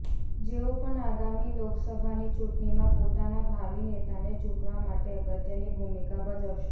જેઓ પણ આગામી લોકસભાની ચૂંટણીમાં પોતાના ભાવિ નેતાને ચૂંટવા માટે અગત્યની ભૂમિકા ભજવશે